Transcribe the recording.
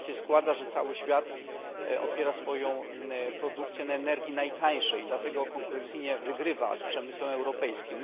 Tak się składa, że cały świat opiera swoją produkcję na energii najtańszej i dlatego konkurencyjnie wygrywa z przemysłem europejskim.